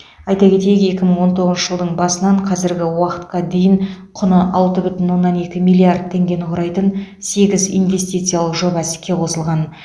айта кетейік екі мың он тоғызыншы жылдың басынан қазіргі уақытқа дейін құны алты бүтін оннан екі миллиард теңгені құрайтын сегіз инвестициялық жоба іске қосылған